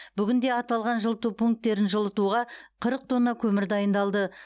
бүгінде аталған жылыту пункттерін жылытуға қырық тонна көмір дайындалды